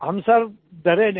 हम सिर डरे नहीं